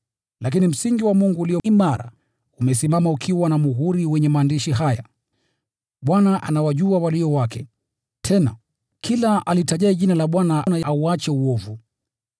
Lakini msingi wa Mungu ulio imara umesimama, ukiwa na muhuri wenye maandishi haya: “Bwana anawajua walio wake”; tena, “Kila alitajaye jina la Bwana, na auache uovu.”